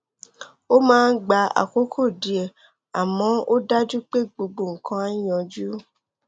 ó máa gba àkókò díẹ àmọ ó dájú pé gbogbo nǹkan á yanjú